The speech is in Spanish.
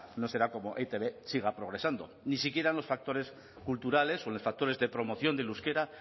no será como e i te be siga progresando ni siquiera en los factores culturales o en los factores de promoción del euskera